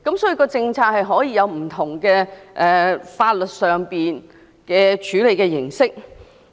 所以，政策上可以有不同的法律處理形式。